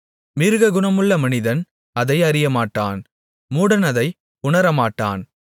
மிருககுணமுள்ள மனிதன் அதை அறியமாட்டான் மூடன் அதை உணரமாட்டான்